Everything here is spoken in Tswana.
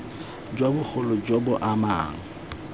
jo bogolo jo bo amang